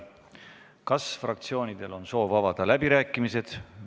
Kas fraktsioonidel on soovi avada läbirääkimisi?